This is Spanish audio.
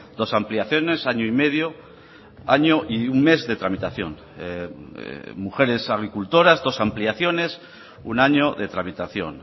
dos ampliaciones año y medio año y un mes de tramitación mujeres agricultoras dos ampliaciones un año de tramitación